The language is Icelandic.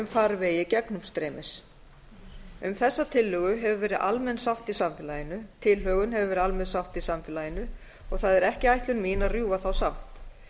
farvegi gegnumstreymis um þess tillögu hefur verið almenn sátt í samfélaginu tilhögun hefur verið almenn sátt í samfélaginu það er ekki ætlun mín að rjúfa þá sátt